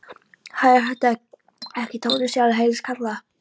Hæ, er þetta ekki Tóti sjálfur? heyrðist kallað.